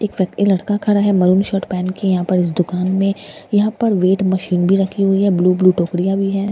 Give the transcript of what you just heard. एक व्यक्ति लड़का खड़ा है मेहरून शर्ट पहन के यहां पर इस दुकान में यहां पर वेट मशीन में रखी हुई है ब्लू ब्लू टोकरिया भी है ।